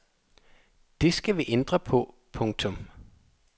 Det skal vi ændre på. punktum